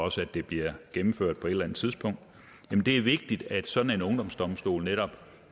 også at det bliver gennemført på et eller andet tidspunkt det er vigtigt at sådan en ungdomsdomstol netop